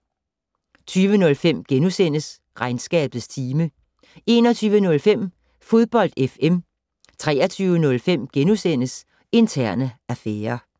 20:05: Regnskabets time * 21:05: Fodbold FM 23:05: Interne affærer *